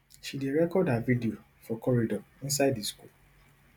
she dey record her video for corridor inside di school